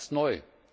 Das ist neu.